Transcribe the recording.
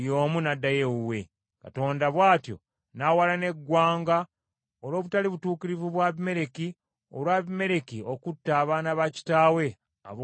Katonda bw’atyo n’awalana eggwanga olw’obutali butuukirivu bwa Abimereki, olwa Abimereki okutta abaana ba kitaawe, abooluganda nsanvu.